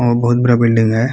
और बहुत बड़ा बिल्डिंग हैं ।